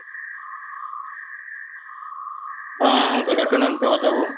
ହଁ good afternoon Prabhat ବାବୁ